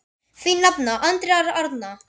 Þín nafna, Andrea Arna.